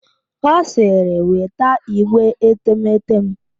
Ọ siri weta igbe etemeete m!